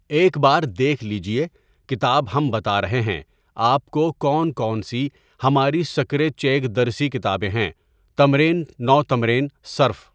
ایک بار دیکھ لیجیے کتاب ہم بتا رہے ہیں آپ کو کون کون سی ہماری سکرےچیگ درسی کتابیں ہیں تمرین نَو تمرین صَرف.